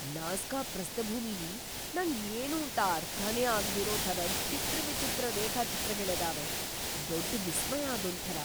Nazca ಪ್ರಸ್ಥಭೂಮಿಲಿ ನಂಗ್ ಏನೂಂತ ಅರ್ಥನೇ ಆಗ್ದಿರೋ ಥರದ್ ಚಿತ್ರವಿಚಿತ್ರ ರೇಖಾಚಿತ್ರಗಳಿದಾವೆ, ದೊಡ್ಡ ವಿಸ್ಮಯ ಅದೊಂಥರ!